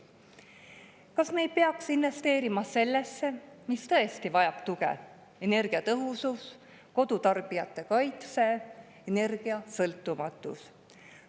Kas me ei peaks investeerima sellesse, mis tõesti vajab tuge: energiatõhusus, kodutarbijate kaitse, energiasõltumatus?